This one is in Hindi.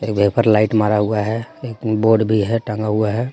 यहां पर लाइट मारा हुआ है एक बोर्ड भी है टंगा हुआ है।